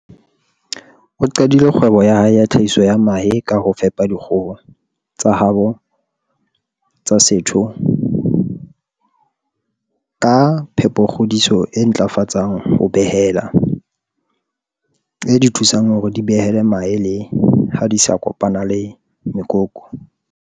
O qadile kgwebo ya hae ya tlhahiso ya mahe ka ho fepa dikgoho tsa habo tsa setho ka phepokgodiso e ntlafatsang ho behela, e di thusang hore di behele mahe le ha di sa kopana le mekoko.